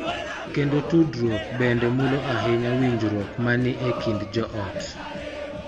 Kendo tudruok bende mulo ahinya winjruok ma ni e kind joot.